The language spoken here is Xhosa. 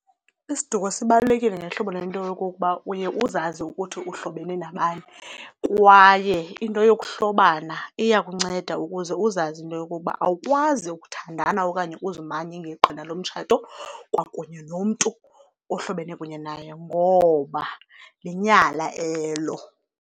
Isiduko sibalulekile ngehlobo lento yokokuba uye uzazi ukuthi uhlobene nabani kwaye into yokuhlobana iya kunceda ukuze uzazi into yokuba awukwazi ukuthandana okanye uzimanye ngeqhina lomtshato kwakunye nomntu ohlobene kunye naye ngoba linyala elo.